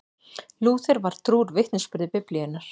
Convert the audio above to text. Lúther var trúr vitnisburði Biblíunnar.